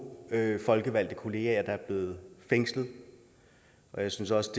folkevalgte kollegaer er blevet fængslet jeg synes også